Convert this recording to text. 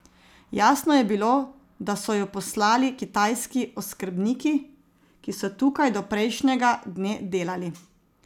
Jasno je bilo, da so ju poslali kitajski oskrbniki, ki so tukaj do prejšnjega dne delali.